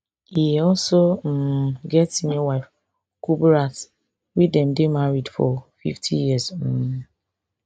e also um get senior wife kuburat wey dem dey married for fifty years um